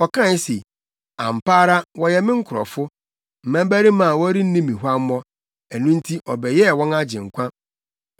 Ɔkae se, “Ampa ara wɔyɛ me nkurɔfo, mmabarima a wɔrenni me huammɔ;” ɛno nti ɔbɛyɛɛ wɔn Agyenkwa.